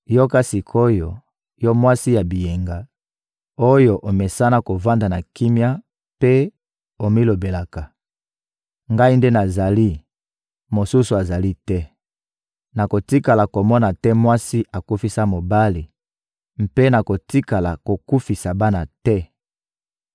Yoka sik’oyo, yo mwasi ya biyenga, oyo omesana kovanda na kimia mpe omilobelaka: «Ngai nde nazali, mosusu azali te. Nakotikala kokoma te mwasi akufisa mobali mpe nakotikala kokufisa bana te!»